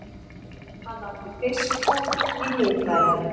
Hann átti fiskbúð í miðbænum.